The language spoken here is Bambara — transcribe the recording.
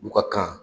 U ka kan